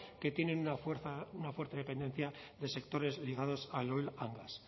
que tienen una fuerte dependencia de sectores ligados oil gas